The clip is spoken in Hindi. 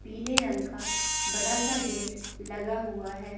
पीले रंग का बड़ा सा गेट लगा हुआ हैं।